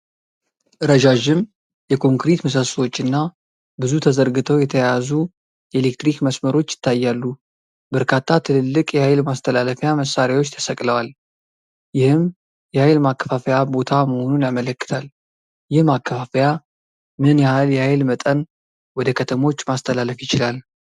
ረዣዥም የኮንክሪት ምሰሶዎች እና ብዙ ተዘርግተው የተያያዙ የኤሌክትሪክ መስመሮች ይታያሉ። በርካታ ትልልቅ የኃይል ማስተላለፊያ መሳሪያዎች ተሰቅለዋል፤ ይህም የኃይል ማከፋፈያ ቦታ መሆኑን ያመለክታል። ይህ ማከፋፈያ ምን ያህል የኃይል መጠን ወደ ከተሞች ማስተላለፍ ይችላል?